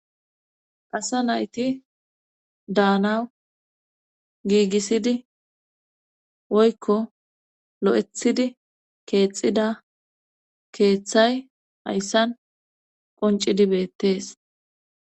pasa nayti daanawu giigisidi woykko lo7ethidi keexida keeththay hayssan qoncidi beettees